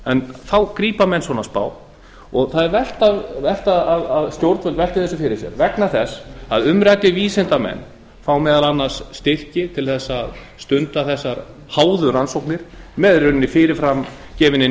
tilraun þá grípa menn svona spá það er vert að stjórnvöld velti þessu fyrir sér vegna þess að umræddir vísindamenn fá meðal annars styrki til að stunda þessar háðu rannsóknir með í rauninni fyrirframgefinni